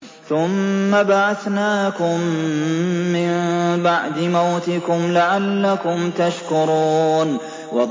ثُمَّ بَعَثْنَاكُم مِّن بَعْدِ مَوْتِكُمْ لَعَلَّكُمْ تَشْكُرُونَ